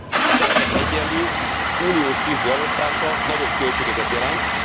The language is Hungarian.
a terhek egyenlő, uniós szintű elosztása nagyobb költségeket jelent.